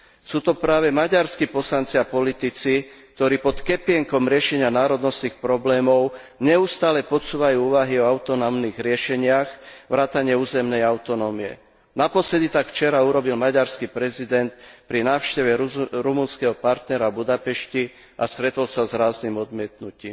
Sú to práve maďarskí poslanci a politici, ktorí pod kepienkom riešenia národnostných problémov neustále podsúvajú úvahy o autonómnych riešeniach vrátane územnej autonómie. Naposledy tak učinil maďarský prezident počas včerajšej návštevy rumunského partnera v Budapešti a stretol sa s ráznym odmietnutím.